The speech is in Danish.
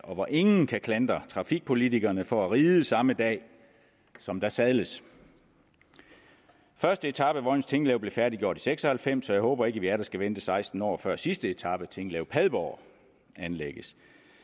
hvor ingen kan klandre trafikpolitikerne for at ride samme dag som der sadles første etape af vojens tinglev blev færdiggjort seks og halvfems og jeg håber ikke at vi atter skal vente seksten år før sidste etape tinglev padborg anlægges